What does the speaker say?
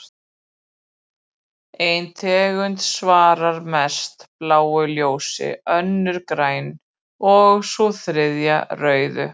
Ein tegundin svarar mest bláu ljósi, önnur grænu og sú þriðja rauðu.